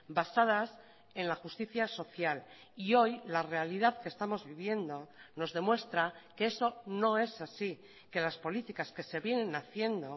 basadas en la justicia social y hoy la realidad que estamos viviendo nos demuestra que eso no es así que las políticas que se vienen haciendo